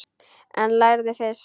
En lærðu fyrst.